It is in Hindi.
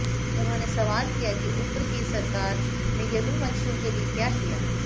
उन्होंने सवाल किया कि उप्र की सरकार ने यदुवंशियों के लिए क्या किया